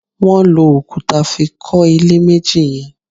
Wọn lò òkúta fí kọ ilé méjì yẹn